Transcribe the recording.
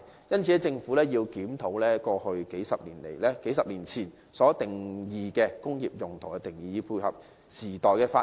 因此，政府必須檢討過去數十年前就工業用途所設的定義，以配合時代的發展。